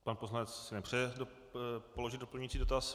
Pan poslanec si nepřeje položit doplňující dotaz.